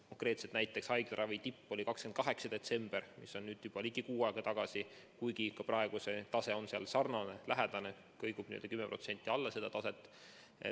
Konkreetselt näiteks haiglaravi tipp oli 28. detsembril, mis oli juba ligi kuu aega tagasi, kuigi ka praegu see tase on lähedane, kõigub 10% alla seda taset.